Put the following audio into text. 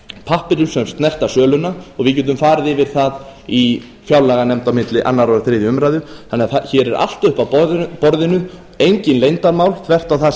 pappírum sem snerta söluna og við getum farið yfir það í fjárlaganefnd á milli annars og þriðju umræðu þannig að hér er allt uppi á borðinu engin leyndarmál þvert á það